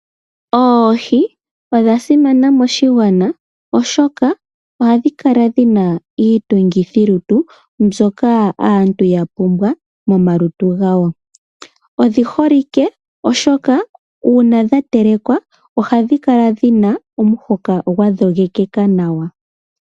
Oohi odha simana moshigwana, oshoka ohadhi kala dhi na iitungithilutu mbyoka aantu ya pumbwa momalutu gawo. Odhi holike, oshoka uuna dha telekwa ohadhi kala dhi na omuhoka gwa dhogekeka nawa.